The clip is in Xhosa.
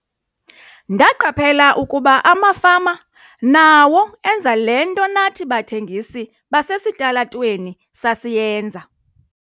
"Ndaqaphela ukuba amafama nawo enza le nto nathi bathengisi basesitalatweni sasiyenza."